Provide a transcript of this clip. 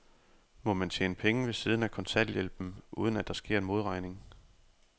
Må man tjene penge ved siden af kontanthjælpen, uden at der sker en modregning?